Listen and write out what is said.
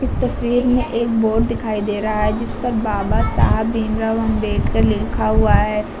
इस तस्वीर में एक बोर्ड दिखाई दे रहा है जिस पर बाबा साहब भीमराव अंबेडकर लिखा हुआ है।